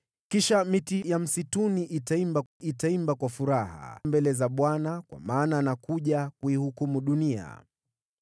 Kisha miti ya msituni itaimba, itaimba kwa furaha mbele za Bwana , kwa maana anakuja kuihukumu dunia.